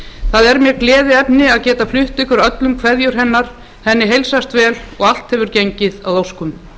það er mér gleðiefni að geta flutt ykkur öllum kveðjur hennar henni heilsast vel og allt hefur gengið að óskum